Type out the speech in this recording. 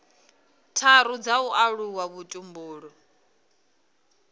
tharu dza u alusa vhutumbuli